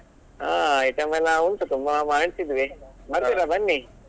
ಆ item ಎಲ್ಲ ಉಂಟು ತುಂಬಾ ಮಾಡಿಸಿದ್ವಿ ಬರ್ತೀರಾ ಬನ್ನಿ.